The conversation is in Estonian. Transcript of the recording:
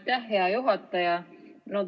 Aitäh, hea juhataja!